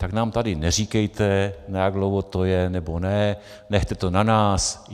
Tak nám tady neříkejte, na jak dlouho to je nebo ne, nechte to na nás.